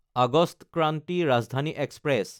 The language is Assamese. অগষ্ট ক্ৰান্তি ৰাজধানী এক্সপ্ৰেছ